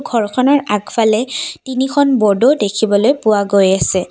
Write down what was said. ঘৰখনৰ আগফালে তিনিখন বৰ্ডো দেখিবলৈ পোৱা গৈ আছে।